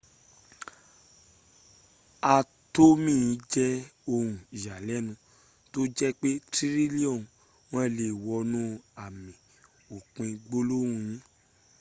atomi je oun iyalenu to je pe trilioni won le wonu ami opin gbolohun yi